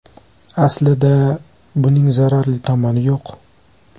Aslida, buning zararli tomoni yo‘q.